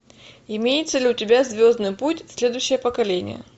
имеется ли у тебя звездный путь следующее поколение